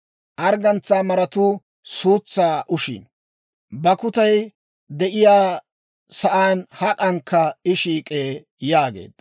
Arggantsaa maratuu suutsaa ushiino; bakkutay de'iyaa saan hak'ankka I shiik'ee» yaageedda.